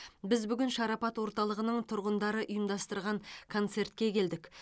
біз бүгін шарапат орталығының тұрғындары ұйымдастырған концертке келдік